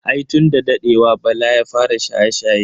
Ai tun da dadewa bala ya fara shaye-shaye.